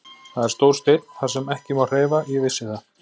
Það er stór steinn þar sem ekki má hreyfa, ég vissi það.